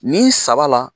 Ni saba la